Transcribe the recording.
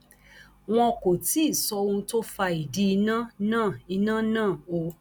wọn kò tí ì sọ ohun tó fa ìdí iná náà iná náà o